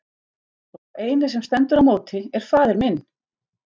Og sá eini sem stendur í móti er faðir minn!